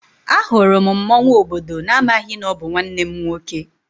Ahụrụ m mmọnwụ obodo n'amaghị na ọ bụ nwanne m nwoke.